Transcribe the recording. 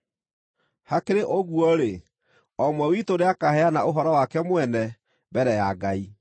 Hakĩrĩ ũguo-rĩ, o ũmwe witũ nĩakaheana ũhoro wake mwene mbere ya Ngai.